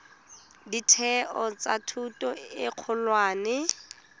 ditheo tsa thuto e kgolwane